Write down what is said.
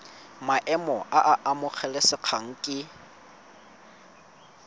maemo a a amogelesegang ke